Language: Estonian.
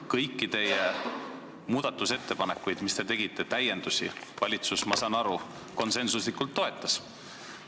Kõiki teie muudatusettepanekuid, mis te tegite, kõiki täiendusi, valitsus, ma saan nii aru, konsensuslikult toetas.